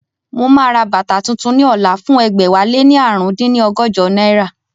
Mo máa ra bàtà tuntun ní ọ̀la fún ẹgbẹ̀wáléní ààrùn dín ní ọgọ́jọ náírà